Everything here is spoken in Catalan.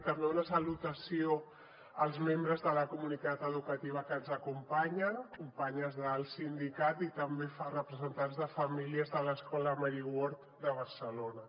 també una salutació als membres de la comunitat educativa que ens acompanyen companyes del sindicat i també a representants de famílies de l’escola mary ward de barcelona